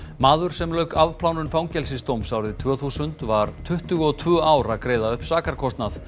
maður sem lauk afplánun fangelsisdóms árið tvö þúsund var tuttugu og tvö ár að greiða upp sakarkostnað